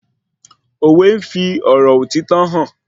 Òwe n fí òtítọ́ ọ̀rọ̀ hàn